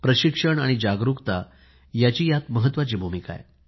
प्रशिक्षण आणि जागरूकता यांची महत्वाची भूमिका आहे